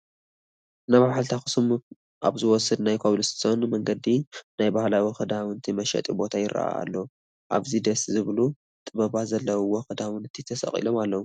ናብ ሓወልቲ ኣኽሱም ኣብ ዝወስድ ናይ ኮብል ስቶን መንገዲ ናይ ባህሊ ክዳውንቲ መሸጢ ቦታ ይርአ ኣሎ፡፡ ኣብኡ ደስ ዝብሉ ጥበባት ዘለዉዎም ክዳውንቲ ተሰቒሎም ኣለዉ፡፡